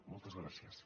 moltes gràcies